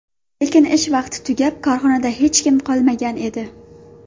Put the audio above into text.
Lekin ish vaqti tugab, korxonada hech kim qolmagan edi.